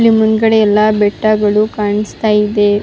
ಇಲ್ಲಿ ಮುಂದ್ಗಡೆ ಎಲ್ಲ ಬೆಟ್ಟಗಳು ಕಾಣಿಸ್ತಾ ಇದೆ --